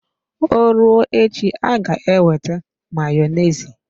Ọ rụọ echi aga ewete Mayonezi.